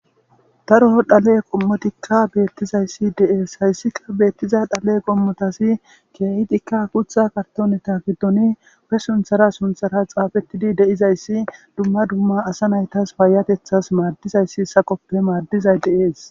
Daro dhale qomotika betizaysi de'eshaysika betiza dhale qomotazi uttiya be kartoneta gidon be sunthar sunthara xaafetidi de'izaysi duma duma asa maytas payatetjasadizayso salope madizay de'es